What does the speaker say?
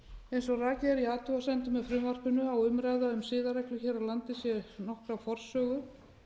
eins og rakið er í athugasemdum með frumvarpinu á umræða um siðareglur hér á landi nokkra forsögu